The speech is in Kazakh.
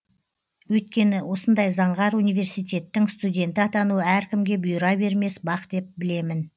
өйткені осындай заңғар университеттің студенті атану әркімге бұйыра бермес бақ деп білемін